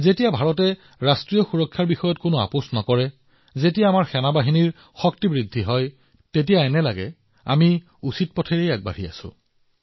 যেতিয়া ভাৰতে ৰাষ্ট্ৰীয় নিৰাপত্তাৰ বিষয়ত আপোচ নকৰে যেতিয়া আমাৰ বাহিনীৰ শক্তি বৃদ্ধি হয় আমি অনুভৱ কৰো যে হয় আমি সঠিক পথত আছো